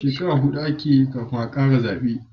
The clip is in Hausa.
Shekara hudu a ke yi kafin a kara zabe